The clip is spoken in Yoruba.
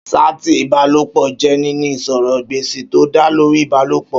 Ṣáàtì ìbálòpọ̀ jẹ́ níní ìsọ̀rọ̀ gbèsì tó dá lórí ìbálòpọ̀